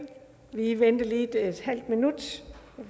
vi venter lige et halv minut